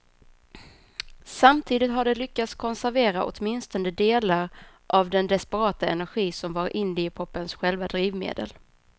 Samtidigt har de lyckats konservera åtminstone delar av den desperata energi som var indiepopens själva drivmedel.